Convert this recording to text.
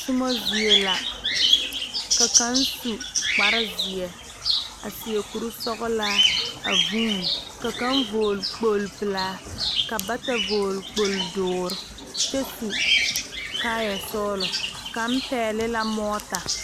Tommo zie la ka kaŋ su kparezeɛ a seɛ kurisɔglaa a vuune ka kaŋ vɔgle kpogle pelaa ka bata vɔgle kpogle dɔɔre kyɛ su kaayɛ sɔglɔ kaŋ pɛgle la mɔɔta.